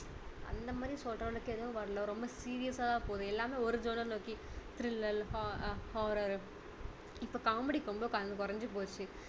அந்த மாதிரி சொல்ற அளவுக்கு எதுவும் வரல ரொம்ப serious சா தான் போகுது எல்லாமே ஒரு genre ல இருக்கு thriller ho~horror இப்போ காமெடி ரொம்ப குறைஞ்சு பேச்சு